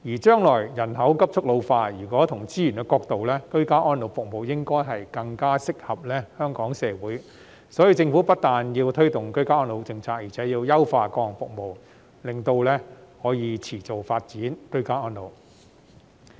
將來人口急速老化，從資源的角度來看，居家安老服務應該更適合香港社會，所以政府不但要推動居家安老政策，而且要優化各項服務，就可以持續發展居家安老。